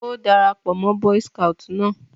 Ó dara pọ̀ mọ́ boy's scout náà